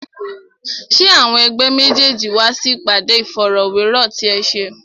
Ṣé àwọn ẹ̀gbẹ́ méjèèjì wá sí ìpàdé Ìfọ̀rọ̀wérọ̀ ti ẹ ṣe?